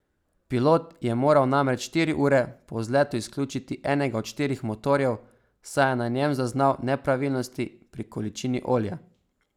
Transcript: Pilot je moral namreč štiri ure po vzletu izključiti enega od štirih motorjev, saj je na njem zaznal nepravilnosti pri količini olja.